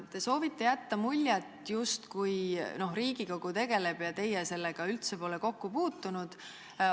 Te soovite jätta muljet, justkui Riigikogu tegeleb sellega ja teie pole sellega üldse kokku puutunud.